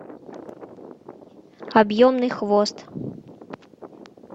объемный хвост